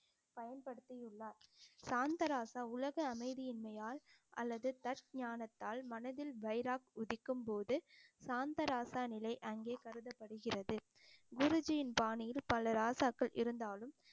பயன்படுத்தியுள்ளார் சாந்தராசா உலக அமைதியின்மையால் அல்லது தர்க் ஞானத்தால் மனதில் வைராக் உதிக்கும் போது சாந்தராசா நிலை அங்கே கருதப்படுகிறது குருஜியின் பாணியில் பல ராசாக்கள் இருந்தாலும்